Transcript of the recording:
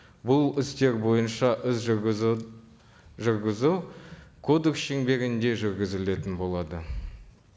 бұл істер бойынша іс жүргізу жүргізу кодекс шеңберінде жүргізілетін болады